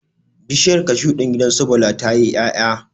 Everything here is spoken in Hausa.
Bishiyar cashu din gidan su Bala tayi 'yaya